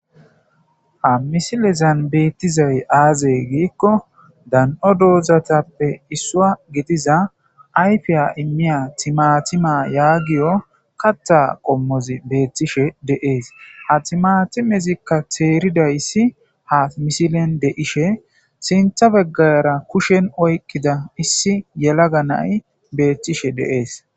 ha misilezan beettizay aazey giikko dan7o doozatappe issua gitiza ayfiya immiya timatima yaagiyo kata qommozi beettishe deees ha timatimezikka teeridayssi ha misilen de7ishe sintha beggayara kushen oykkida issi yelaga nay beethtishe deees